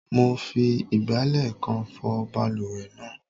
Mo fi ìgbálẹ̀ kan fọ balùwẹ̀ náà.